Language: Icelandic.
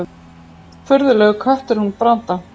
Furðulegur köttur hún Branda.